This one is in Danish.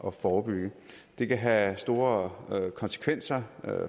at forebygge det kan have store konsekvenser